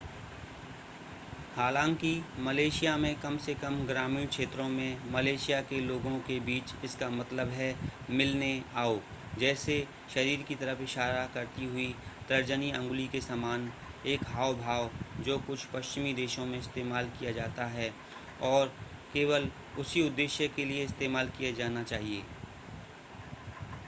हालांकि मलेशिया में कम से कम ग्रामीण क्षेत्रों में मलेशिया के लोगों के बीच इसका मतलब है मिलने आओ जैसे शरीर की तरफ़ इशारा करती हुई तर्जनी अंगुली के समान एक हाव-भाव जो कुछ पश्चिमी देशों में इस्तेमाल किया जाता है और केवल उसी उद्देश्य के लिए इस्तेमाल किया जाना चाहिए